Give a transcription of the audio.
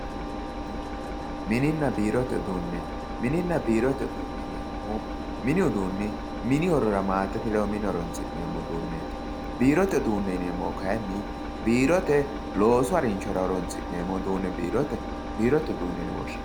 Mininna biirote uduune, minina biirote uduune yineemmohu mini uduuni mini horora maatete ledo mine horonsi'neemmo uduuneti, biirote yineemmohu kayinni biirote loosu harinshora horonsi'neemmo uduune biirote uduuneti.